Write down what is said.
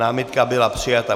Námitka byla přijata.